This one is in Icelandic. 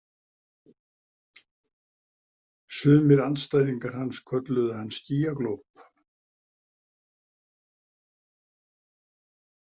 Sumir andstæðingar hans kölluðu hann skýjaglóp.